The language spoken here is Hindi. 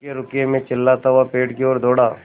रुकिएरुकिए मैं चिल्लाता हुआ पेड़ की ओर दौड़ा